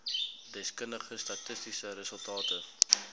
deskundige statistiese resultate